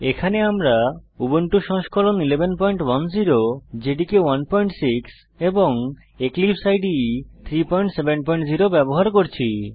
এখানে আমরা উবুন্টু সংস্করণ 1110 জেডিকে 16 এবং এক্লিপসে ইদে 370 ব্যবহার করছি